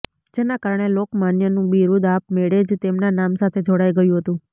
જેના કારણે લોકમાન્યનું બિરુદ આપ મેળે જ તેમના નામ સાથે જોડાઈ ગયું હતું